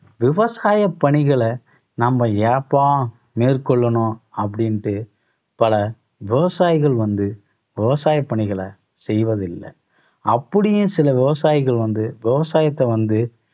விவசாயப் பணிகளை நம்ம ஏப்பா மேற்கொள்ளணும், அப்படின்ட்டு பல விவசாயிகள் வந்து விவசாய பணிகளை செய்வதில்ல. அப்படியும் சில விவசாயிகள் வந்து விவசாயத்தை வந்து